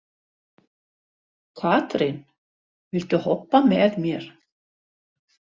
Katrín, viltu hoppa með mér?